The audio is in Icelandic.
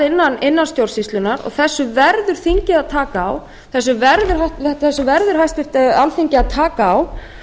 innan stjórnsýslunnar og þessu verður þingið að taka á þessu verður háttvirtu alþingi að taka á